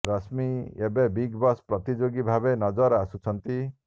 ରଶ୍ମୀ ଏବେ big boss ପ୍ରତିଯୋଗୀ ଭାବେ ନଜର ଆସୁଛନ୍ତି